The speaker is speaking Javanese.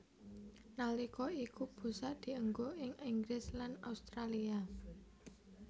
Nalika iku busak dienggo ing Inggris lan Australia